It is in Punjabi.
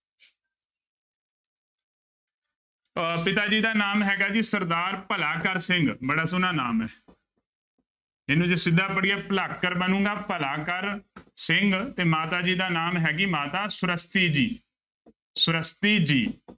ਅਹ ਪਿਤਾ ਜੀ ਦਾ ਨਾਮ ਹੈਗਾ ਜੀ ਸਰਦਾਰ ਭਲਾਕਰ ਸਿੰਘ ਬੜਾ ਸੋਹਣਾ ਨਾਮ ਹੈ ਇਹਨੂੰ ਜੇ ਸਿੱਧਾ ਪੜ੍ਹੀਏ ਭਲਾਕਰ ਬਣੇਗਾ ਭਲਾ ਕਰ ਸਿੰਘ ਤੇ ਮਾਤਾ ਜੀ ਦਾ ਨਾਮ ਹੈਗੀ ਮਾਤਾ ਸੁਰੱਸਤੀ ਜੀ, ਸੁਰੱਸਤੀ ਜੀ।